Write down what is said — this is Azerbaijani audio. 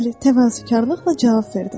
Bəli, təvazökarlıqla cavab verdim.